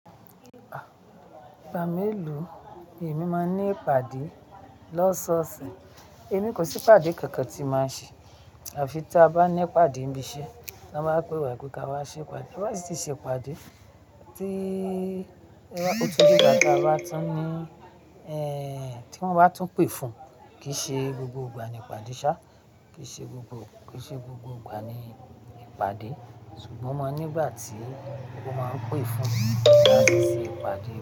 Ìgbà mélòó èmi máa ní ìpàdé lọ́sọ̀ọ̀sẹ̀? Èmi kò sí ìpàdé kankan tí màá ṣe. Àfi tí a bá ní ìpàdé ń bí iṣẹ́, wọ́n máa pe wa pé ka wá ṣe ìpàdé. Ba ba si tì ṣe ìpàdé tí ọ̀túnjíjàjà wá tún ní, ẹ́ tí wọ́n tún pè fún. Kì í ṣe gbogbo ìgbà ni ìpàdé ṣá kò, kì í ṣe gbogbo, kì í ṣe gbogbo ìgbà ni ìpàdé ṣùgbọ́n máa nígbà tí wọ́n máa ń pè fún láti ṣe ìpàdé.